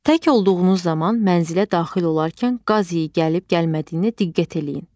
Tək olduğunuz zaman mənzilə daxil olarkən qaz iyi gəlib gəlmədiyinə diqqət eləyin.